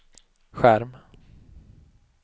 skärm